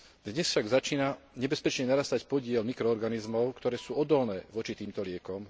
Dnes však začína nebezpečne narastať podiel mikroorganizmov, ktoré sú odolné voči týmto liekom.